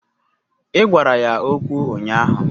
Ị gwara ya okwu ụnyaahụ